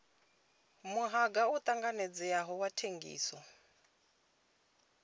muhanga u tanganedzeaho wa thengiso